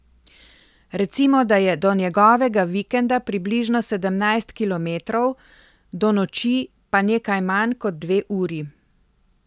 Recimo da je do njegovega vikenda približno sedemnajst kilometrov, do noči pa nekaj manj kot dve uri.